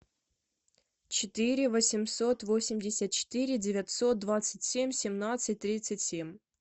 четыре восемьсот восемьдесят четыре девятьсот двадцать семь семнадцать тридцать семь